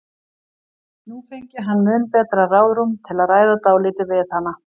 Nú fengi hann mun betra ráðrúm til að ræða dálítið við hana.